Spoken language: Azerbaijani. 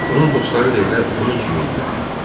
Onun dostları da elə onun kimi idilər.